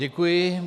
Děkuji.